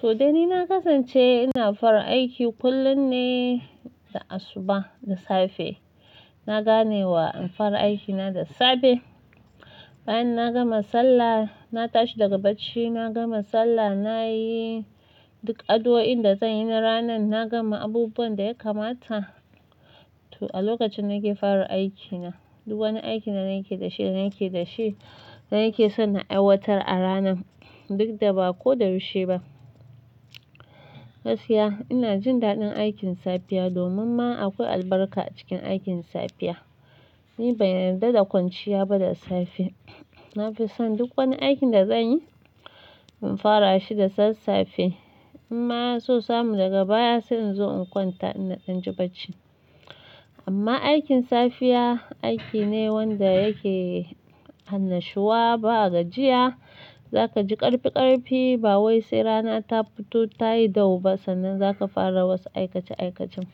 To, dai ni na kasance ina fara aiki kullum ne da asuba da safe. Na ganewa in fara aikina da safe. Bayan na gama sallah, na tashi daga bacci, na gama sallah, nayi duk addu'oin da zanyi na ranan, na gama abubuwan da ya kamata. To, a lokacin nake fara aikina, duk wani aiki na nake da shi, nake da shi, nake son na aiwatar a ranan duk da bakoda yaushe ba. Gaskiya, ina jin daɗin aikin safiya domin ma akwai albarka a cikin aikin safiya. Ni ban yarda da kwanciya ba da safe. Nafison duk wani aikin da zanyi, in farashi da sassafe. Inma sosai mu daga baya sai inzo in kwanta ina danji bacci. Amma aikin safiya aiki ne wanda yake annashuwa, ba gajiya. Zakaji ƙarfi ƙarfi ba wai sai rana ta fito ta yi gau ba sannan zaka fara wasu aikace aikacen.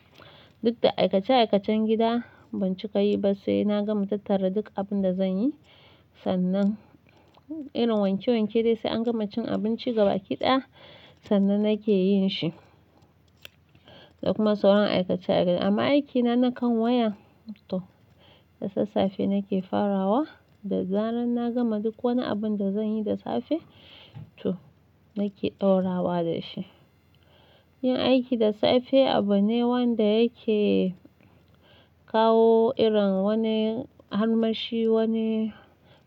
Duk da aikace aikacen gida ban cika yiba sai na gama tattara duk abinda zanyi sannan irin wanke wanke dai sai an gama cin abinci gabaki ɗaya sannan nake yinshi. Da kuma sauran aikace aikace. Amma aikina na kan wayan, to da sassafe nake farawa da zaran na gama duk wani abunda zanyi da safe to nake ɗaurawa da shi. Yin aiki da safe abune wanda yake kawo irin wani harmashi, wani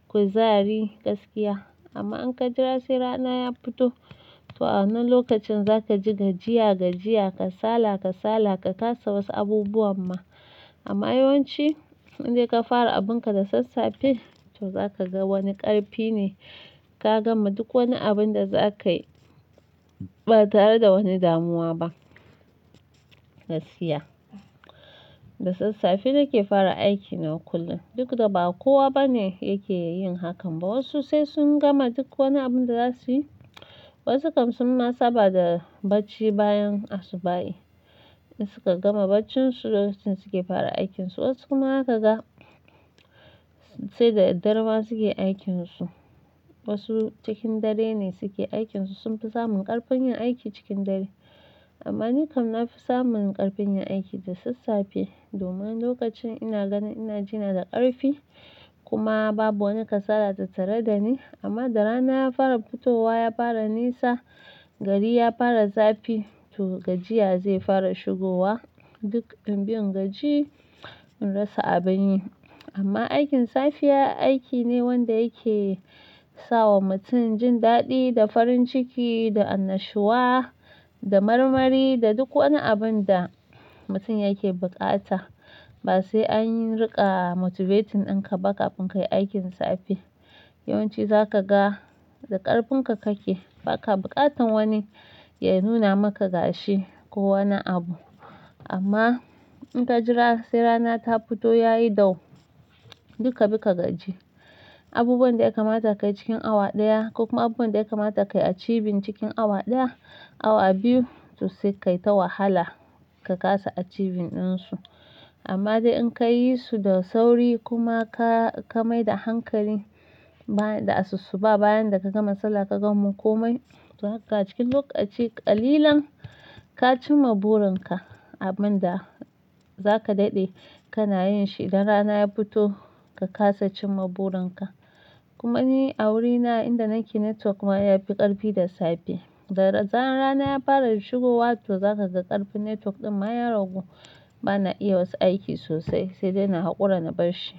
kuzari, gaskiya. Amma in ka jira sai rana ya fito, to a wannan lokacin zakaji gajiya gajiya, kasala kasala, ka kasa wasu abubuwan ma. Amma yawanci in dai ka fara abunka da sassafe to za ka ga wani ƙarfi ne kagama duk wani abunda zakayi ba tare da wani damuwa ba. Gaskiya. Da sassafe nake fara aikina kullum duk da ba kowa bane yake yin hakan ba. Wasu sai sun gama duk wani abun da za su yi, wasu kam sunma saba da bacci bayan asuba. In suka gama baccin su, lokacin suke fara aikinsu. Wasu kuma zakaga sai da daddare ma suke aikinsu. Wasu cikin dare ne suke aikinsu, sun fi samun ƙarfin yin aiki cikin dare. Amma ni kam na fi samun ƙarfin yin aiki da sassafe domin lokacin ina ganin ina jina da ƙarfi kuma babu wani kasala ta tare da ni. Amma da rana ya fara fitowa, ya fara nisa, gari ya fara zafi to gajiya zai fara shigowa. Duk inbi in gaji in rasa abin yi. Amma aikin safiya aiki ne wanda yake sawa mutum jindaɗi da farin ciki, da annashuwa, da marmari, da duk wani abunda mutum yake bukata. Ba sai an riƙa motivating in ka baka abun kayi aikin safe. Yawanci zakaga da ƙarfinka kake, baka bukatan wani ya nuna maka gashi ko wani abu. Amma in ka jira sai rana ta fito yayi gau, duk kabi ka gaji. Abubuwan da ya kamata ka yi cikin awa ɗaya ko kuma abubuwan da ya kamata ka yi a cibin cikin awa ɗaya, awa biyu to sai kayi ta wahala ka kasa a cibin ɗinsu. Amma dai in ka yi su da sauri kuma ka, ka mai da hankali ba da asusu ba bayan da ka gama sallah ka gama komai, to haka cikin lokaci ƙalilan ka cimma burin ka abunda za ka daɗe kana yin shi. Idan rana ya fito, ka kasa cimma burin ka. Kuma ni a wurina inda nake network ma yafi ƙarfi da safe. Da zaran rana ya fara shigowa to zakaga ƙarfin network ɗin ma ya ragu bana iya wasu aiki sosai sai dai na haƙura na barshi.